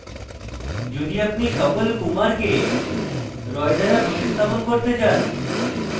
যদি আপনি সকল kumar কে roy দ্বারা প্রতিস্থাপন করতে চান